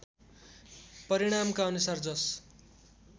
परिणामका अनुसार जस